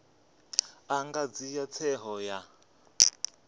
a nga dzhia tsheo ya